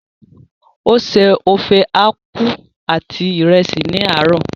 O se ofe aku àti ìrẹsì ní àárò.